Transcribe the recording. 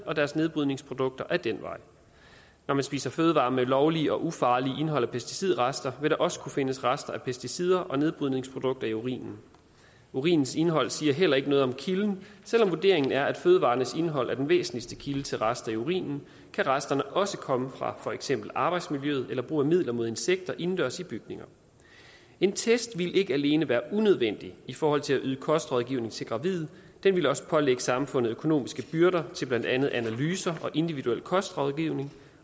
og deres nedbrydningsprodukter ad den vej når man spiser fødevarer med et lovligt og ufarligt indhold af pesticidrester vil der også kunne findes rester af pesticider og nedbrydningsprodukter i urinen urinens indhold siger heller ikke noget om kilden selv om vurderingen er at fødevarernes indhold er den væsentligste kilde til rester i urinen kan resterne også komme fra for eksempel arbejdsmiljøet eller brug af midler mod insekter indendørs i bygninger en test ville ikke alene være unødvendig i forhold til at yde kostrådgivning til gravide den ville også pålægge samfundet økonomiske byrder til blandt andet analyser og individuel kostrådgivning